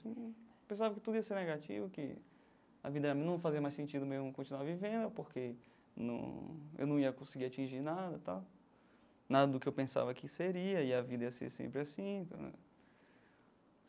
Eu pensava que tudo ia ser negativo, que a vida não fazia mais sentido mesmo eu continuar vivendo porque não eu não ia conseguir atingir nada tal, nada do que eu pensava que seria e a vida ia ser sempre assim.